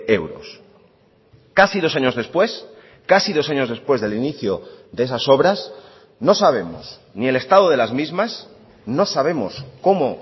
euros casi dos años después casi dos años después del inicio de esas obras no sabemos ni el estado de las mismas no sabemos cómo